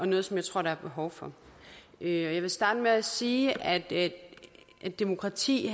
noget som jeg tror der er behov for jeg vil starte med at sige at et demokrati